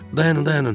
Dayanın, dayanın!